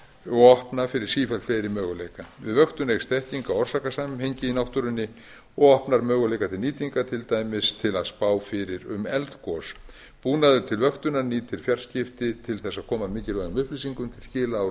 og opna fyrir sífellt fleiri möguleika við vöktun eykst þekking á orsakasamhengi í náttúrunni og opnar möguleika til nýtingar til dæmis til að spá fyrir um eldgos búnaður til vöktunar nýtir fjarskipti til að koma mikilvægum upplýsingum til skila á